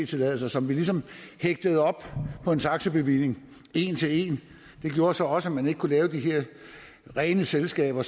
tilladelser som vi ligesom hægtede op på en taxabevilling en til en det gjorde så også at man ikke kunne lave de her rene selskaber